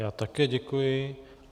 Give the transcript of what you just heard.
Já také děkuji.